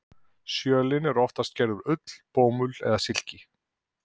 Sjölin eru oftast gerð úr ull, bómull eða silki.